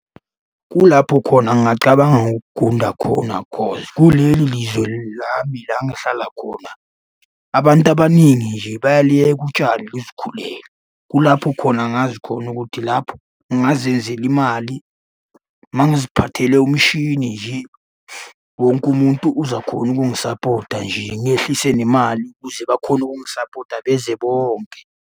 Kulapho khona ngingacabanga ukugunda khona cause kuleli lizwe lami la engihlala khona, abantu abaningi nje bayaliyeka utshani buzikhulele nje. Kulapho khona ngazi khona ukuthi lapho ngingazenzela imali uma ngiziphathele umshini nje. Wonke umuntu uzakhona ukungisapota nje ngehlise nemali ukuze bakhone ukungisapota beze bonke.